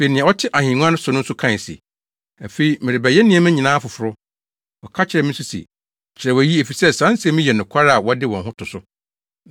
Afei nea ɔte ahengua no so no kae se, “Afei mereyɛ nneɛma nyinaa foforo!” Ɔka kyerɛɛ me nso se, “Kyerɛw eyi, efisɛ saa nsɛm yi yɛ nokware a wɔde wɔn ho to so.”